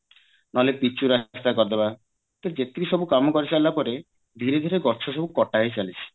ନହେଲେ ପିଚୁ ରାସ୍ତା କରିଦବା ତା ଯେତିକି ସବୁ କାମ କରିସାରିଲା ପରେ ଧୀରେ ଧୀରେ ଗଛ ସବୁ କାଟା ହେଇଚାଲିଛି